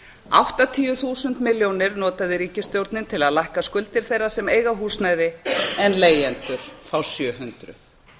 áttatíu þúsund milljónir notaði ríkisstjórnin til að lækka skuldir þeirra sem eiga húsnæði en leigjendur fá sjö hundruð